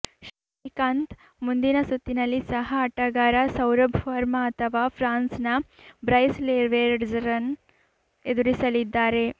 ಶ್ರೀಕಾಂತ್ ಮುಂದಿನ ಸುತ್ತಿನಲ್ಲಿ ಸಹ ಆಟಗಾರ ಸೌರಭ್ ವರ್ಮಾ ಅಥವಾ ಫ್ರಾನ್ಸ್ನ ಬ್ರೈಸ್ ಲೆವೆರ್ಡೆಝ್ರನ್ನು ಎದುರಿಸಲಿದ್ದಾರೆ